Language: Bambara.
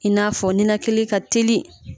I n'a fɔ ninakili ka teli.